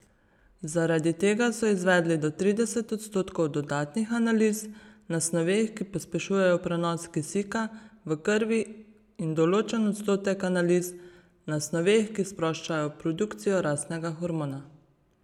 Zaradi tega so izvedli do trideset odstotkov dodatnih analiz na snoveh, ki pospešujejo prenos kisika v krvi, in določen odstotek analiz na snoveh, ki sproščajo produkcijo rastnega hormona.